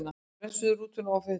Bremsur rútunnar ofhitnuðu